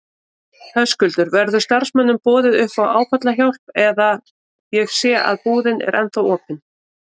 Höskuldur: Verður starfsmönnum boðið upp á áfallahjálp eða, ég sé að búðin er ennþá opin?